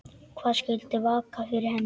Hvað skyldi vaka fyrir henni?